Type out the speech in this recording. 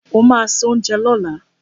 O ma se oúnjẹ lọ́la!